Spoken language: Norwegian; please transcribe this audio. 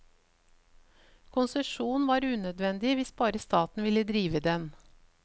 Konsesjon var unødvendig hvis bare staten ville drive den.